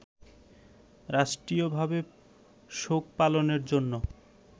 রাষ্ট্রীয়ভাবে শোক পালনের জন্য